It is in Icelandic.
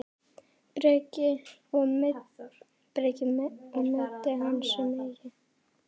Breki: Og meiddi hann sig mikið?